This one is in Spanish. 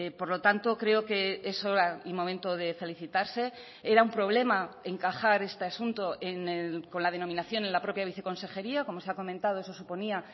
por lo tanto creo que es hora y momento de felicitarse era un problema encajar este asunto con la denominación en la propia viceconsejería como se ha comentado eso suponía